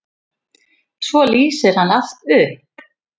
Svo lýsir hann allt upp.